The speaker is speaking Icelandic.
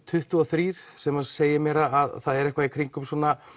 tuttugu og þrjú sem segir mér að það er eitthvað í kringum